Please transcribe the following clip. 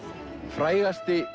frægasti